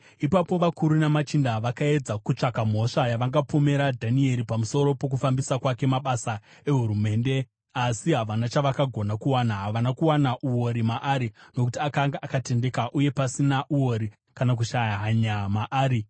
Ipapo, vakuru namachinda vakaedza kutsvaka mhosva yavangapomera Dhanieri pamusoro pokufambisa kwake mabasa ehurumende, asi havana chavakagona kuwana. Havana kuwana uori maari, nokuti akanga akatendeka uye pasina uori kana kushaya hanya maari.